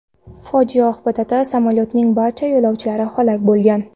Fojia oqibatida samolyotning barcha yo‘lovchilari halok bo‘lgan.